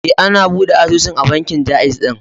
E, na buɗe asusun a bankin Ja'iz ɗin.